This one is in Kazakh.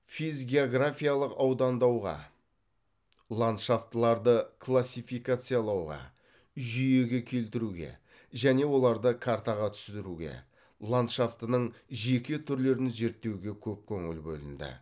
физгеографиялық аудандауға ландшафтыларды классификациялауға жүйеге келтіруге және оларды картаға түсіруге ландшафтының жеке түрлерін зерттеуге көп көңіл бөлінді